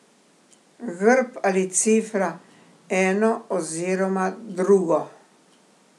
Grb ali cifra, eno oziroma drugo.